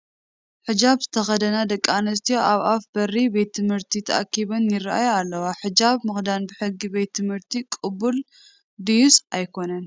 ሕጃብ ዝተተኸደና ደቂ ኣንስትዮ ኣብ ኣፍ በሪ ቤት ትምህርቲ ተኣኪበን ይርአያ ኣለዋ፡፡ ሕጃብ ምኽዳን ብሕጊ ቤት ትምህርቲ ቅቡል ድዩስ ኣይኮነን?